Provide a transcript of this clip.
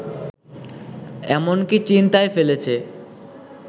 এমনকি চিন্তায় ফেলেছে